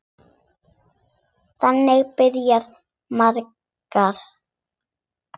Þannig byrja margar.